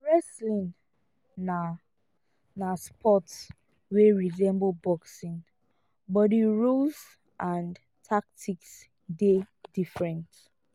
wrestling na na sport wey resemble boxing but di rules and tactics dey different